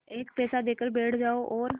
एक पैसा देकर बैठ जाओ और